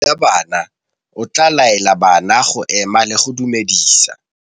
Morutabana o tla laela bana go ema le go go dumedisa.